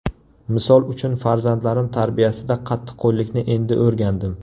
Misol uchun farzandlarim tarbiyasida qattiqqo‘llikni endi o‘rgandim.